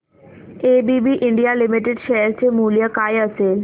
ABB India limited share चे मूल्य काय असेल